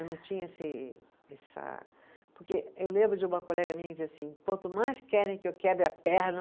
Eu não tinha esse, essa, porque eu lembro de uma colega minha que dizia assim, quanto mais querem que eu quebre a perna,